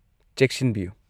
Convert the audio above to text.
-ꯆꯦꯛꯁꯤꯟꯕꯤꯌꯨ꯫